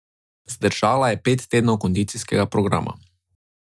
Zdržala je pet tednov kondicijskega programa.